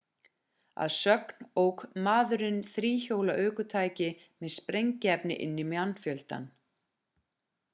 að sögn ók maðurinn þríhjóla ökutæki með sprengiefni inn í mannfjöldann